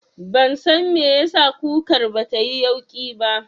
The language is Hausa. Ban san me yasa kukar batayi yauƙi ba